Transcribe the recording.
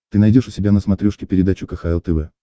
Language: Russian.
ты найдешь у себя на смотрешке передачу кхл тв